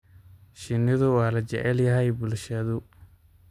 Shinnidu waa la jecel yahay bulshadu.